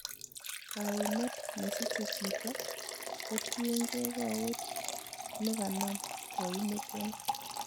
Kaimet nesiche chito kotiengei kowet neganam koimutioni.